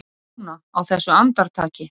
Núna, á þessu andartaki.